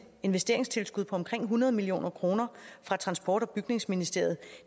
investeringstilskud på omkring hundrede million kroner fra transport og bygningsministeriet